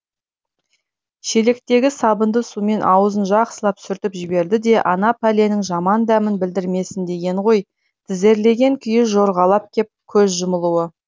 шелектегі сабынды сумен аузын жақсылап сүртіп жіберді де ана пәленің жаман дәмін білдірмесін дегені ғой тізерлеген күйі жорғалап кеп көз жұмулы